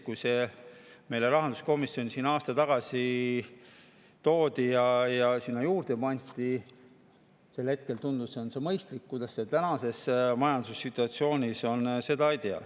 Kui see aasta tagasi meile rahanduskomisjoni toodi ja see sinna juurde pandi, siis sel hetkel tundus see mõistlik, aga kuidas sellega tänases majandussituatsioonis on, seda ei tea.